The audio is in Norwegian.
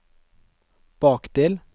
bakdel